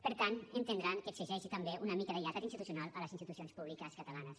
per tant entendran que exigeixi també una mica de lleialtat institucional a les institucions públiques catalanes